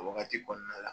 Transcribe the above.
O wagati kɔnɔna la